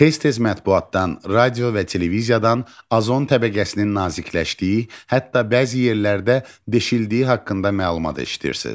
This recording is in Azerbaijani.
Tez-tez mətbuatdan, radio və televiziyadan azon təbəqəsinin nazikləşdiyi, hətta bəzi yerlərdə deşildiyi haqqında məlumat eşidirsiniz.